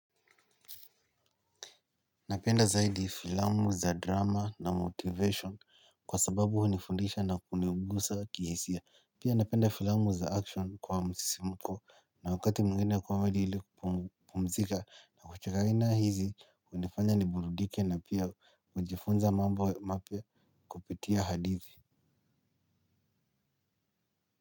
Napenda zaidi filamu za drama na motivation kwa sababu hunifundisha na kunigusa kihisia. Pia napenda filamu za action kwa msisimko na wakati mwingine comedy ili kupumzika na kucheka aina hizi hunifanya ni burudike na pia hujifunza mambo mapya kupitia hadithi.